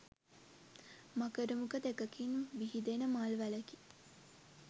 මකර මුඛ දෙකකින් විහිදෙන මල් වැලකි.